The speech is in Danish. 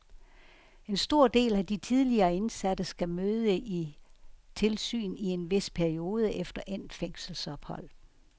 En stor del af de tidligere indsatte skal møde i tilsyn i en vis periode efter endt fængselsophold.